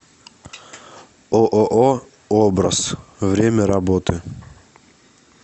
ооо образ время работы